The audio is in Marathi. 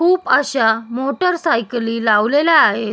खूप अशा मोटर सायकली लावलेल्या आहेत.